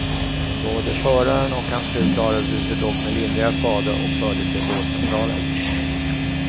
Både föraren och hans fru klarade sig dock med lindriga skador och fördes till vårdcentralen.